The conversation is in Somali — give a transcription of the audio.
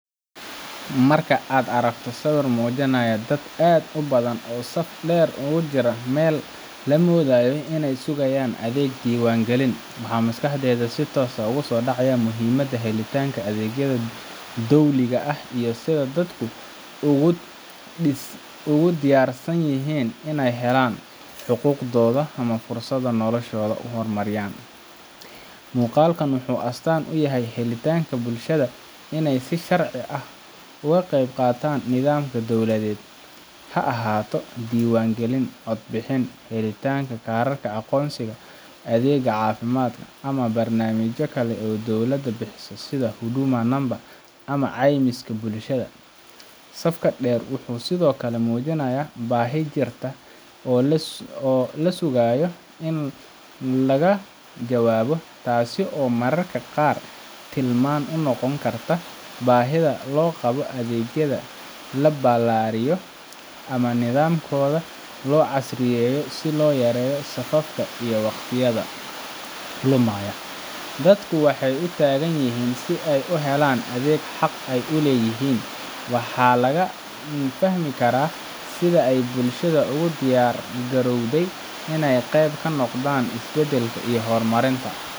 Marka aad aragto sawir muujinaya dad aad u badan oo saf dheer ugu jira meel la moodayo inay sugayaan adeeg diiwaangelin ah, waxaa maskaxdaada si toos ah ugu soo dhacaya muhiimadda helitaanka adeegyada dowliga ah iyo sida dadku ugu diyaarsan yihiin inay helaan xuquuqdooda ama fursado noloshooda horumariyan. Muuqaalkan wuxuu astaan u yahay u heelanaanta bulshada inay si sharci ah uga qeyb qaataan nidaamka dowladeed, ha ahaato diiwaangelin codbixin, helitaanka kaararka aqoonsiga, adeegga caafimaadka, ama barnaamijyo kale oo dowladda bixiso sida Huduma Namba ama caymiska bulshada. Safka dheer wuxuu sidoo kale muujinayaa baahi jirta oo la sugayo in laga jawaabo, taas oo mararka qaar tilmaam u noqon karta baahida loo qabo in adeegyadaas la ballaariyo ama nidaamkooda loo casriyeeyo si loo yareeyo safafka iyo waqtiga lumaya. Dadku waxay u taagan yihiin si ay u helaan adeeg xaq u leeyihiin, waxaana laga fahmi karaa sida ay bulshada ugu diyaar garowday in ay qayb ka noqdan isbedelka iyo horumarinta.